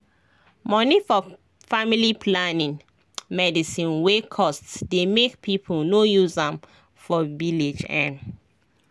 money for family planning medicine wey cost dey make people no use am for village ehn